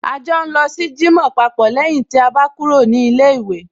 A jọ ń lọ sí jímọ̀ papọ̀ lẹ́yìn tí a bá kúrò ní ilé ìwé